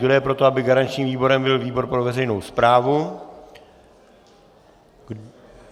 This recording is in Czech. Kdo je pro to, aby garančním výborem byl výbor pro veřejnou správu?